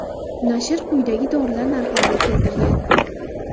Nashr quyidagi dorilar narxlarini keltirgan.